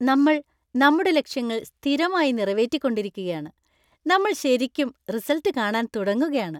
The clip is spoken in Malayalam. നമ്മൾ നമ്മുടെ ലക്ഷ്യങ്ങൾ സ്ഥിരമായി നിറവേറ്റിക്കൊണ്ടിരിക്കുകയാണ്, നമ്മൾ ശരിക്കും റിസല്‍ട്ട് കാണാൻ തുടങ്ങുകയാണ്.